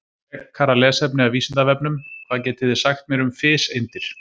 Frekara lesefni af Vísindavefnum: Hvað getið þið sagt mér um fiseindir?